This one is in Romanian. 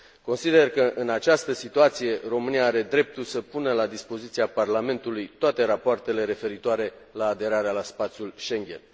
Consider că, în această situație, România are dreptul să pună la dispoziția Parlamentului toate rapoartele referitoare la aderarea la spațiul Schengen.